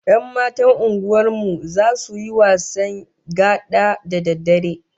Yan matan unguwar mu zasu yi wasan gada da daddare